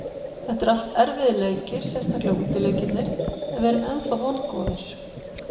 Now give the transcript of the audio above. Þetta eru allt erfiðir leikir, sérstaklega útileikirnir en við erum ennþá vongóðir.